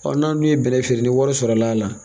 n'an dun ye bɛnnɛ feere ni wari sɔrɔla.